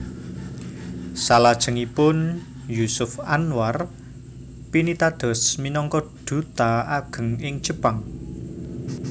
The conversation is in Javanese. Salajengipun Jusuf Anwar pinitados minangka duta ageng ing Jepang